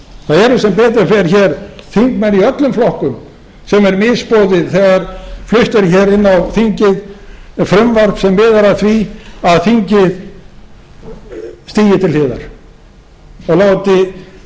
eru sem betur fer hér þingmenn í öllum flokkum sem er misboðið þegar flutt er hér inn á þingið frumvarp sem miðar að því að þingið stígi til hliðar og